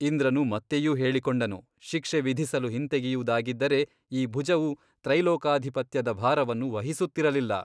ಇಂದ್ರನು ಮತ್ತೆಯೂ ಹೇಳಿಕೊಂಡನು ಶಿಕ್ಷೆ ವಿಧಿಸಲು ಹಿಂತೆಗೆಯುವುದಾಗಿದ್ದರೆ ಈ ಭುಜವು ತ್ರೈಲೋಕ್ಯಾಧಿಪತ್ಯದ ಭಾರವನ್ನು ವಹಿಸುತ್ತಿರಲಿಲ್ಲ.